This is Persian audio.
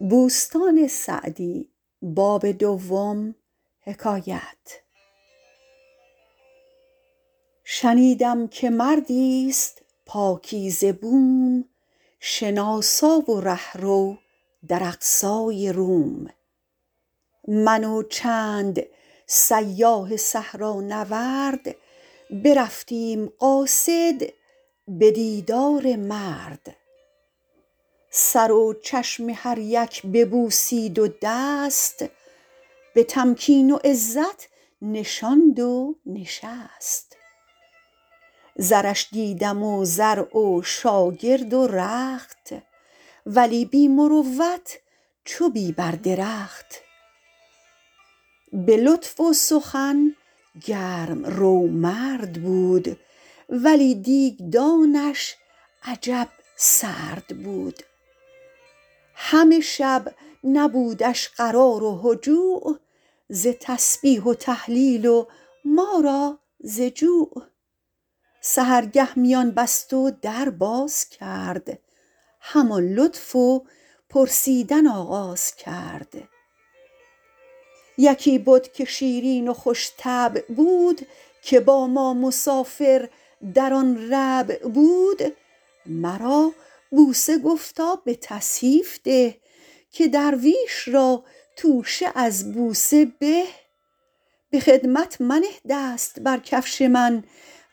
شنیدم که مردی است پاکیزه بوم شناسا و رهرو در اقصای روم من و چند سیاح صحرانورد برفتیم قاصد به دیدار مرد سر و چشم هر یک ببوسید و دست به تمکین و عزت نشاند و نشست زرش دیدم و زرع و شاگرد و رخت ولی بی مروت چو بی بر درخت به لطف و سخن گرم رو مرد بود ولی دیگدانش عجب سرد بود همه شب نبودش قرار و هجوع ز تسبیح و تهلیل و ما را ز جوع سحرگه میان بست و در باز کرد همان لطف و پرسیدن آغاز کرد یکی بد که شیرین و خوش طبع بود که با ما مسافر در آن ربع بود مرا بوسه گفتا به تصحیف ده که درویش را توشه از بوسه به به خدمت منه دست بر کفش من